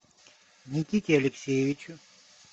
никите алексеевичу